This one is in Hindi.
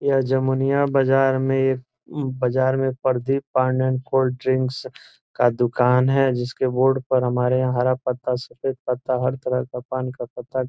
यह जमुनिया बाजार में एक बाजार में परदीप पान एंड कोल्ड ड्रिंक्स का दुकान है जिसके बोर्ड पर हमारे यहां हरा पत्ता सफेद पत्ता हर तरह के पान का पत्ता --